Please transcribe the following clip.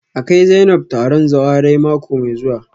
A kai Zainab taron zawarai mako mai zuwa